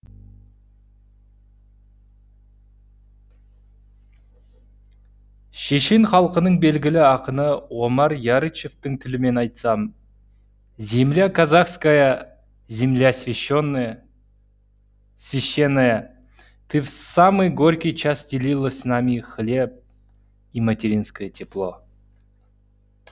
шешен халқының белгілі ақыны омар ярычевтің тілімен айтсам земля казахская земля священная ты в самый горький час делила с нами и хлеб и материнское тепло